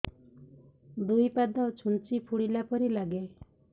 ଦୁଇ ପାଦ ଛୁଞ୍ଚି ଫୁଡିଲା ପରି ଲାଗେ